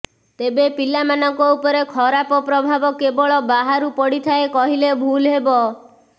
ତେବେ ପିଲାମାନଙ୍କ ଉପରେ ଖରାପ ପ୍ରଭାବ କେବଳ ବାହାରୁ ପଡ଼ିଥାଏ କହିଲେ ଭୁଲ ହେବ